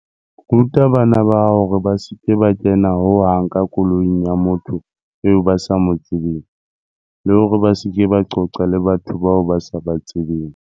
Ruta bana ba hao hore ba se ke ba kena ho hang ka koloing ya motho eo ba sa mo tsebeng, le hore ba se ke ba qoqa le batho bao ba sa ba tsebeng.